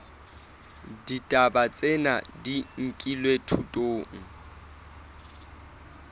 ditaba tsena di nkilwe thutong